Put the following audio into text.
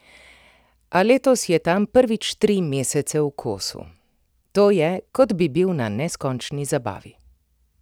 A letos je tam prvič tri mesece v kosu: "To je, kot bi bil na neskončni zabavi.